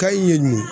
Kayi mun